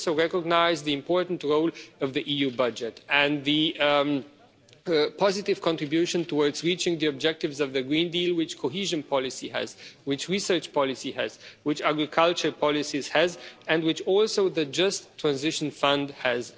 We also recognise the important role of the EU budget and the positive contribution towards reaching the objectives of the Green Deal which cohesion policy has, which research policy has, which agriculture policies have and which the Just Transition Fund also